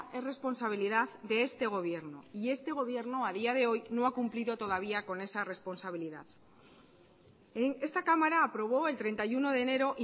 es responsabilidad de este gobierno y este gobierno a día de hoy no ha cumplido todavía con esa responsabilidad esta cámara aprobó el treinta y uno de enero